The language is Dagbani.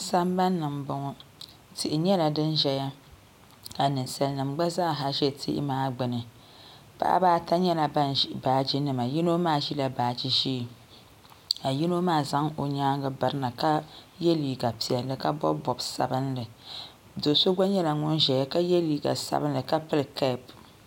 sambani ni m-bɔŋɔ tihi nyɛla din ʒiya ka ninsalinima gba zaa ha ʒe tihi maa gbuni paɣaba ata nyɛla ban ʒi baaji nima yino maa ʒila baaji ʒee ka yino maa zaŋ o nyaaga biri na ka ye liiga piɛlli ka bɔbi bɔb' sabinli do' so gba nyɛla ʒeya ka ye liiga sabinli ka pili kɛɛp.